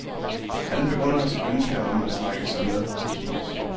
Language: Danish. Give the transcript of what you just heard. Han begrunder sit ønske om at trække sig med tidspres.